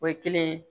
O ye kelen ye